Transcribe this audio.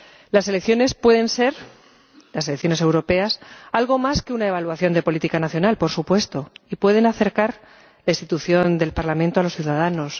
Las elecciones pueden ser —las elecciones europeas— algo más que una evaluación de política nacional, por supuesto, y pueden acercar la institución del Parlamento a los ciudadanos.